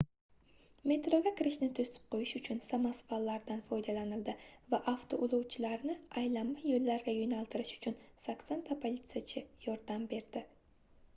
metroga kirishni toʻsib qoʻyish uchun samosvallardan foydalanildi va avtoulovchilarni aylanma yoʻllarga yoʻnaltirish uchun 80 ta politsiyachi yordam berdi